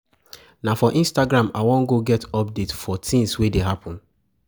Na for Instagram I wan go get update for tins wey dey happen.